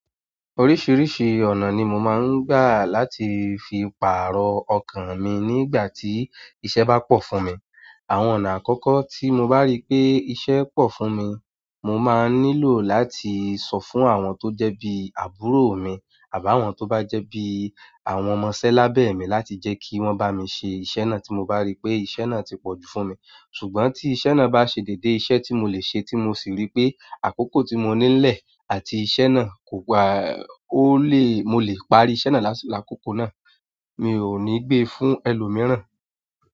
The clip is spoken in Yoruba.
Oríṣìíríṣìí ọ̀nà ni mo máa ń gbà láti fi pààrọ̀ ọkàn mi nígbà tí iṣẹ́ bá pọ̀ fún mi. Àwọn ọ̀nà àkọ́kọ́ tí mo bá rí pé iṣẹ́ pọ̀ fún mi, mo máa nílò láti sọ fún àwọn tó jẹ́ bí àbúrò mi àbá àwọn tó bá jẹ́ bí àwọn ọmọ sẹ́ lábẹ́ mi láti jẹ́ kí wọ́n bá mi ṣe iṣẹ́ náà tí mo bá rí pé iṣẹ́ náà ti pọ̀jù fún mi. Ṣùgbọ́n tí iṣẹ́ náà bá ṣe déédé iṣẹ́ tí mo lè ṣe tí mo sì rí pé àkókò tí mo nílẹ̀ àti iṣẹ́ náà kò gbà ó le, mo lè parí iṣẹ́ náà lásìkò àkókò náà, mi ò ní gbé fún ẹlòmíràn.